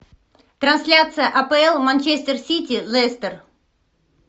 трансляция апл манчестер сити лестер